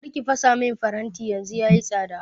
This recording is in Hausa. kar ki fasa min faranti yanzu yayi tsada